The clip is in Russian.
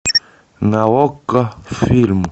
на окко фильм